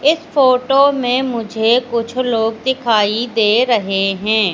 इस फोटो में मुझे कुछ लोग दिखाई दे रहे हैं।